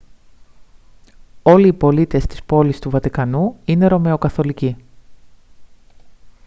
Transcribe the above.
όλοι οι πολίτες της πόλης του βατικανού είναι ρωμαιοκαθολικοί